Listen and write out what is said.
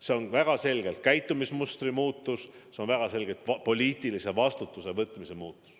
See on väga selgelt käitumismustri muutus, see on väga selgelt poliitilise vastutuse võtmine.